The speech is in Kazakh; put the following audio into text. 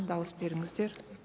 дауыс беріңіздер